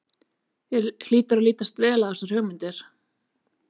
Þér hlýtur að lítast vel á þessar hugmyndir?